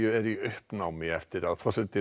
eru í uppnámi eftir að forseti